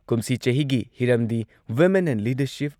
ꯀꯨꯝꯁꯤ ꯆꯍꯤꯒꯤ ꯍꯤꯔꯝꯗꯤ ꯋꯤꯃꯦꯟ ꯏꯟ ꯂꯤꯗꯔꯁꯤꯞ